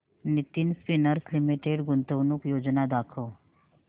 Nitin spinners limited गुंतवणूक योजना दाखव